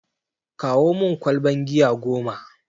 Kawo mun ƙwalban giya goma!